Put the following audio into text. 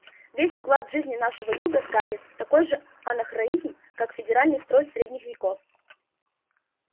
весь уклад жизни нашего юга скарлетт такой же анахронизм как феодальный строй средних веков